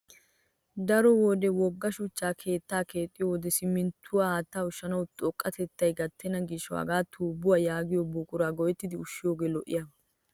Daro wode wogga shuchcha keettaa keexxiyo wode simminttuwa haattaa ushshanaw xoqqatettay gattenna gishawu hagaa tuubbuwa yaagiyo buqura go'ettidi ushshiyogee lo'iyaaba.